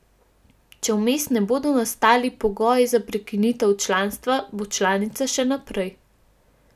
Če vmes ne bodo nastali pogoji za prekinitev članstva, bo članica še naprej.